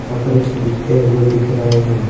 कपरे खरीदते हुए दिख रहे हैं।